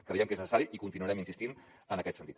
creiem que és necessari i continuarem insistint en aquest sentit